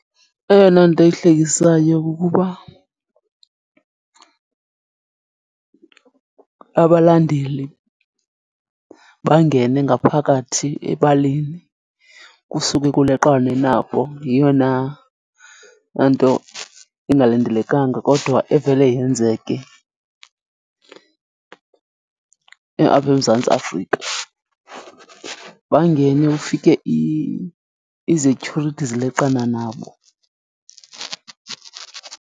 Eyona nto ihlekisayo kukuba abalandeli bangene ngaphakathi ebaleni kusuke kuleqwane nabo. Yeyona nto ingalindelekanga kodwa evele yenzeke apha eMzantsi Afrika. Bangene, ufike izetyhurithi zileqana nabo.